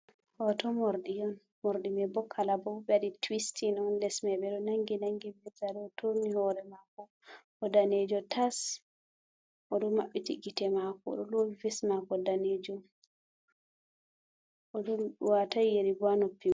Hooto rmorɗi, morɗi boo kalaba ɓe ɗo waɗi tuwistin on les mai ɓe ɗo nangi nangi, bee zare, o turni hoore maako o daneejo tas o ɗo maɓɓiti gite maako do loowi ves maako daneejum, o waataay yeri bo.